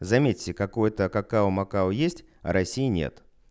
заметьте какое-то какао макао есть а россии нет